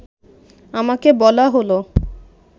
আমাকে বলা হলো